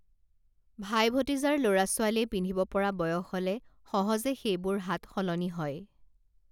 ভাই ভতিজাৰ লৰা ছোৱালীয়ে পিন্ধিব পৰা বয়স হলে সহজে সেইবোৰ হাত সলনি হয়